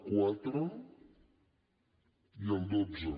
quatre i el dotze